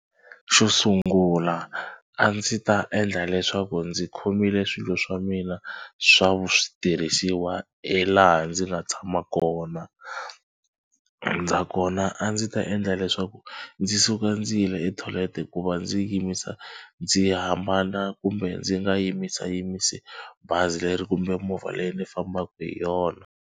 Xo sungula a ndzi ta endla leswaku ndzi khomile swilo swa mina swa vu switirhisiwa hi laha ndzi nga tshama kona. Ndza kona a ndzi ta endla leswaku ndzi suka ndzi yile etoilet hikuva ndzi yimisa ndzi hambana kumbe ndzi nga yimisayimisi bazi leri kumbe movha leyi ni fambaka hi yona.